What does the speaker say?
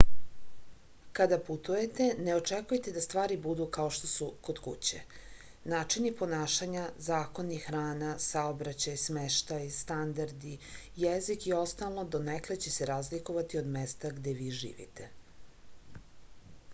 kada putujete ne očekujte da stvari budu kao što su kod kuće načini ponašanja zakoni hrana saobraćaj smeštaj standardi jezik i ostalo donekle će se razlikovati od mesta gde vi živite